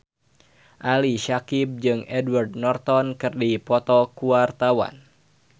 Ali Syakieb jeung Edward Norton keur dipoto ku wartawan